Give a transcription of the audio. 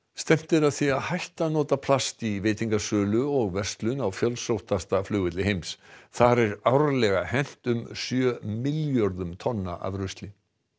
stefnt er að því að hætta að nota plast í veitingasölu og verslun á fjölsóttasta flugvelli heims þar er árlega hent um sjö milljörðum tonna af rusli